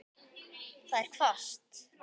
Það er hvasst.